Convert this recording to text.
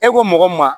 E ko mɔgɔ ma